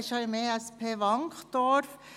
Er befindet sich ja im ESP Wankdorf.